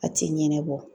A ti ɲɛnɛbɔ